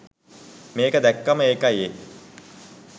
මේක දැක්කම ඒකයි ඒ